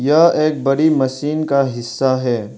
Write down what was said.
यह एक बड़ी मशीन का हिस्सा है।